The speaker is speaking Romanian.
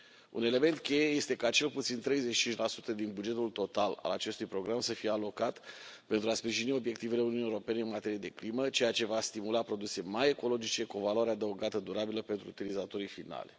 Un element cheie este ca cel puțin 35 din bugetul total al acestui program să fie alocat pentru a sprijini obiectivele Uniunii Europene în materie de climă, ceea ce va stimula produse mai ecologice, cu o valoare adăugată durabilă pentru utilizatorii finali.